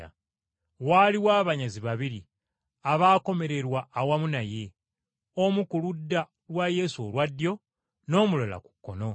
Waaliwo abanyazi babiri abaakomererwa awamu naye, omu ku ludda lwa Yesu olwa ddyo, n’omulala ku kkono.